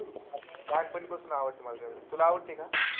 लहानपणीपासून आवडतं मला traveling. तुला आवडते का?